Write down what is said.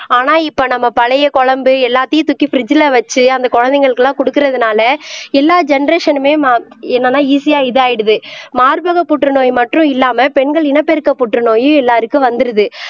ஆனா இப்ப நம்ம பழைய குழம்பு எல்லாத்தையும் தூக்கி பிரிட்ஜ்ல வச்சு அந்த குழந்தைகளுக்கு எல்லாம் கொடுக்கிறதுனால எல்லா ஜெனெரேஷனுமே என்னன்னா மா ஈசியா இது ஆயிடுது மார்பக புற்றுநோய் மட்டும் இல்லாம பெண்கள் இனப்பெருக்க புற்றுநோயும் எல்லாருக்கும் வந்துடுது